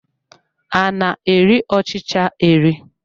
A na-eri ọchịcha eri.